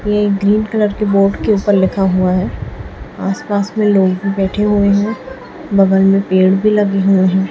ये green colour के board के ऊपर लिखा हुआ है आसपास में लोग भी बैठे हुए है बगल में पेड़ भी लगे हुए है।